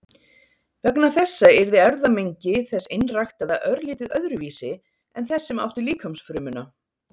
Vegna þessa yrði erfðamengi þess einræktaða örlítið öðruvísi en þess sem átti líkamsfrumuna.